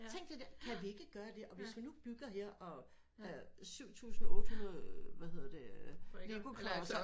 Tænk det der kan vi ikke gøre det og hvis vi nu bygger her og øh syv tusind otte hundrede øh hvad hedder det øh lego klodser